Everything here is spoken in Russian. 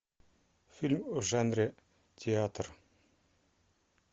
фильм в жанре театр